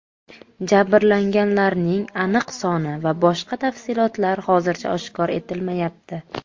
Jabrlanganlarning aniq soni va boshqa tafsilotlar hozircha oshkor etilmayapti.